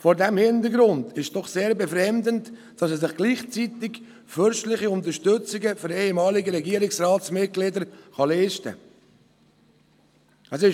Vor diesem Hintergrund ist es doch sehr befremdend, dass er sich gleichzeitig fürstliche Unterstützungen für ehemalige Regierungsratsmitglieder leisten kann.